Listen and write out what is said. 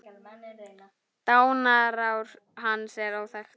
Dánarár hans er óþekkt.